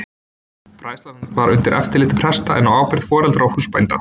Fræðslan var undir eftirliti presta en á ábyrgð foreldra og húsbænda.